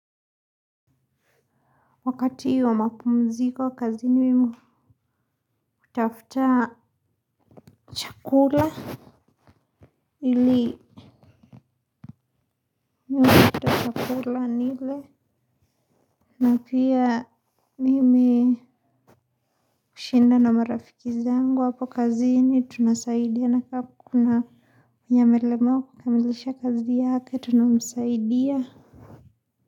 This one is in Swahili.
Wakati wa mapumziko kazini kutafuta chakula ili mimi kutola nile na pia mimi kushinda na marafiki zangu hapo kazini tunasaidiana kama kuna mwenye amelemewa kukamilisha kazi yake tunamsaidia.